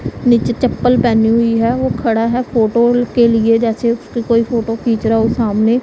नीचे चप्पल पेहनी हुई है वो खडा है फोटो के लिए जैसे उसकी कोई फोटो खींच रहा हो सामने --